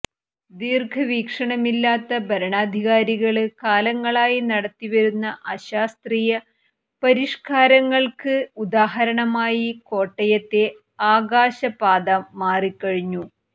ദീര്ഘ വീക്ഷണമില്ലാത്ത ഭരണാധികാരികള് കാലങ്ങളായി നടത്തിവരുന്ന അശാസ്ത്രീയ പരിഷ്ക്കാരങ്ങള്ക്ക് ഉദാഹരണമായി കോട്ടയത്തെ ആകാശപാത മാറി കഴിഞ്ഞു